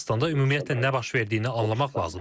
Ermənistanda ümumiyyətlə nə baş verdiyini anlamaq lazımdır.